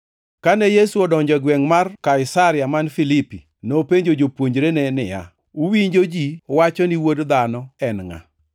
Kane Yesu odonjo e gwengʼ mar Kaisaria man Filipi, nopenjo jopuonjrene niya, “Uwinjo ji wacho ni Wuod Dhano en ngʼa?”